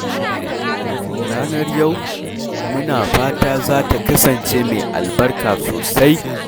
Ranar yau, muna fata za ta kasance mai albarka sosai